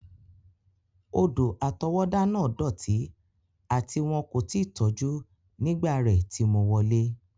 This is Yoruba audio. Odò-àtọwọ́dá náà dọti ati won ko ti tọju nígbà rẹ ti mo wọlẹ́.